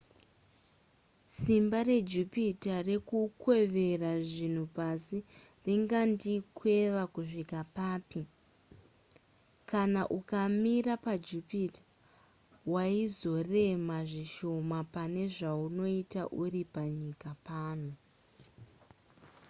simba rejupiter rekukwevera zvinhu pasi ringandikweva kusvika papi kana ukamira pajupiter waizorema zvishoma pane zvaunoita uri panyika pano